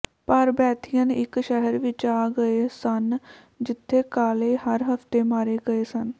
ਪਰ ਬੈਥਿਯਨ ਇੱਕ ਸ਼ਹਿਰ ਵਿੱਚ ਆ ਗਏ ਸਨ ਜਿੱਥੇ ਕਾਲੇ ਹਰ ਹਫ਼ਤੇ ਮਾਰੇ ਗਏ ਸਨ